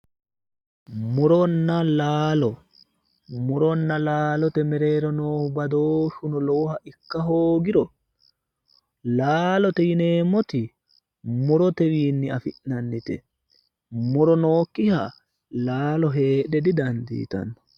Muronna laalo, muronna laalote mereero noohu badooshu lowohano ikka hoogirono laalote yinneemmoti murotewinni afi'neemmote, muro nooyikkiha laalo heedhe didandittano.